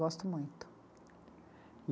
Gosto muito.